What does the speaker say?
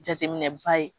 Jateminɛba ye